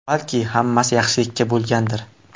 Balki hammasi yaxshilikka bo‘lgandir!?